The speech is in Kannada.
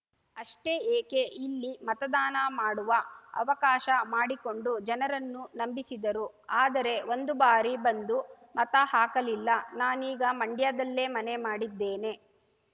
ಅಷ್ಟೇ ಏಕೆ ಇಲ್ಲಿ ಮತದಾನ ಮಾಡುವ ಅವಕಾಶ ಮಾಡಿಕೊಂಡು ಜನರನ್ನು ನಂಬಿಸಿದರು ಆದರೆ ಒಂದು ಬಾರಿ ಬಂದು ಮತ ಹಾಕಲಿಲ್ಲ ನಾನೀಗ ಮಂಡ್ಯದಲ್ಲೇ ಮನೆ ಮಾಡಿದ್ದೇನೆ